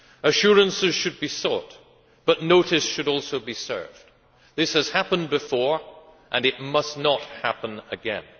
Assurances should be sought, but notice should also be served. This has happened before, and it must not happen again.